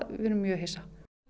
við erum mjög hissa